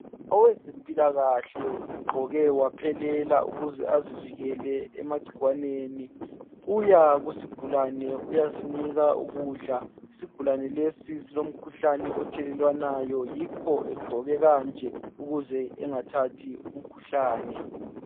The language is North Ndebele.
owezempilakahle ugqoke waphelela ukuze azivikele emacikwaneni uya kusigulane uyasinika ukudla isigulane lesi silomkhuhlane othelelwanayo yikho egqoke kanje ukuze engathathi umkhuhlane